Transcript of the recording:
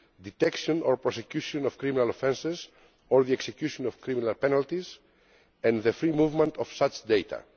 detection or prosecution of criminal offences or the execution of criminal penalties and the free movement of such data.